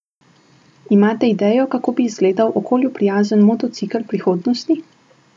Imate idejo kako bi izgledal okolju prijazen motocikel prihodnosti?